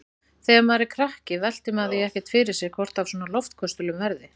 Þegar maður er krakki veltir maður því ekkert fyrir sér hvort af svona loftköstulum verði.